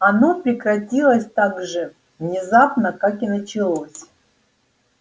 оно прекратилось так же внезапно как и началось